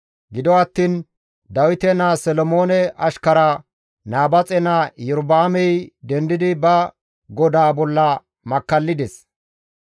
Gido attiin Dawite naa Solomoone ashkara, Nabaaxe naa Iyorba7aamey dendidi ba godaa bolla makkallides.